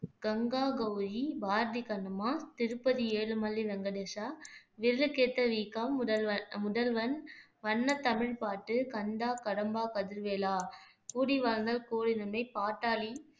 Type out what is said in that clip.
கங்கா கௌரி, பாரதி கண்ணம்மா, திருப்பதி ஏழுமலை வெங்கடேஷா, விரலுக்கேத்த வீக்கம், முதல்வர் முதல்வன், வண்ணத் தமிழ் பாட்டு, கந்தா கடம்பா கதிர்வேலா, கூடி வாழ்ந்தா கோடி நன்மை, பாட்டாளி